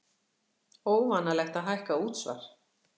Óvanalegt að hækka útsvar